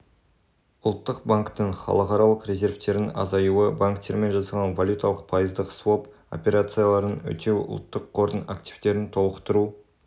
ұлттық банктің халықаралық резервтерінің азаюы банктермен жасалған валюталық пайыздық своп операцияларын өтеу ұлттық қордың активтерін толықтыру